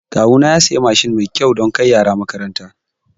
Kawuna ya siya Mashin mai kyau dan kai yara makaranta